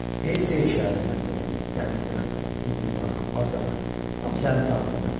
Heyf deyil şəhərin mərkəzi, dəniz qırağı, univermaq, bazar, hamısı əlinin altında.